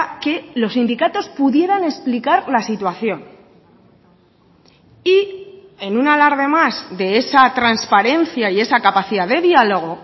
que los sindicatos pudieran explicar la situación y en un alarde más de esa transparencia y esa capacidad de diálogo